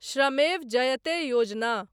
श्रमेव जयते योजना